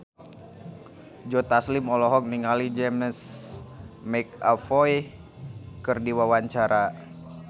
Joe Taslim olohok ningali James McAvoy keur diwawancara